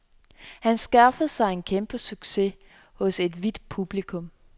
Han skaffede sig en kæmpesucces hos et hvidt publikum.